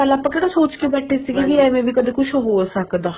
ਆਪਾਂ ਕਿਹੜਾ ਸੋਚ ਕੇ ਬੈਠੇ ਸੀ ਕੀ ਏਵੇਂ ਵੀ ਕਦੇ ਕੁੱਛ ਹੋ ਸਕਦਾ